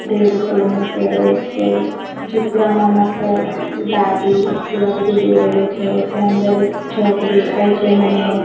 Red colour નું carrot છે ચિત્રમાં મસ્ત ગાડી એકટીવા બધું દોરેલું છે ત્યાં અંદર એક જગ દેખાય છે મને.